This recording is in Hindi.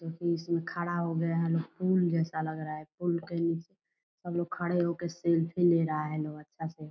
क्योंकि इसमें खड़ा हो गया है लोग पुल जैसा लग रहा है पूल के नीचे सब खड़े हो के सेल्फी ले रहा है लोग अच्छा से।